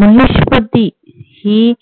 महेश पती ही